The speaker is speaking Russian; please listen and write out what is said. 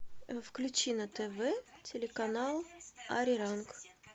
включи на тв телеканал ариранг